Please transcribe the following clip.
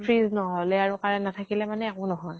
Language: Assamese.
fridge নাথাকিলে আৰু current নহলে মানে একো নহয়।